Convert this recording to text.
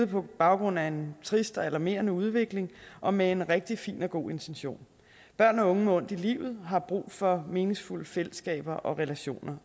på baggrund af en trist og alarmerende udvikling og med en rigtig fin og god intention børn og unge med ondt i livet har brug for meningsfulde fællesskaber og relationer